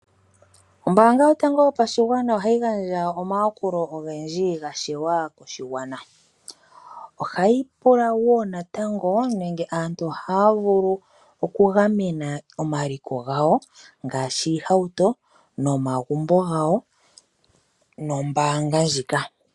Ombaanga yotango yopashigwana ohayi gandja omayakulo ogendji ga shewa koshigwana. Ohayi pula wo natango nenge aantu ohaya vulu okugamena omaliko gawo ngaashi iihauto nomagumbo gawo nombaanga ndjika.